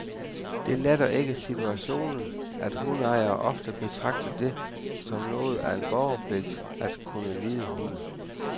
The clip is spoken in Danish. Det letter ikke situationen, at hundeejere ofte betragter det som noget af en borgerpligt at kunne lide hunde.